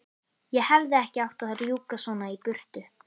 Ég hefði ekki átt að rjúka svona í burtu.